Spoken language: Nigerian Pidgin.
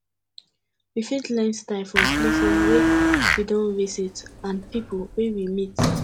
we fit learn style from places wey we don visit and pipo wey we meet